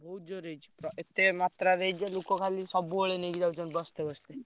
ବହୁତ ଜୋରେ ହେଇଛି। ତ ଏତେ ମାତ୍ରାରେ ହେଇଛି ଯେ ଲୋକଖାଲି ସବୁବେଳେ ନେଇକି ଯାଉଛନ୍ତି ବସ୍ତେ ବସ୍ତେ।